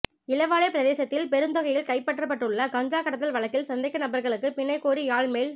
இளவாலை பிரதேசத்தில் பெருந்தொகையில் கைப்பற்றப்பட்டுள்ள கஞ்சா கடத்தல் வழக்கில் சந்தேக நபர்களுக்கு பிணை கோரி யாழ் மேல்